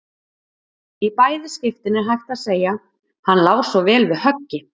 Í bæði skiptin er hægt að segja: Hann lá svo vel við höggi.